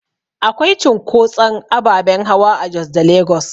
Akwai cunkotson ababen hawa a Jos da Lagos